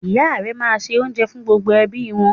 Ìya rẹ máa n se oúnjẹ fún gbogbo ẹbí wọn